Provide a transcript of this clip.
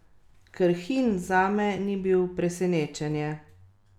Krhin zame ni bil presenečenje.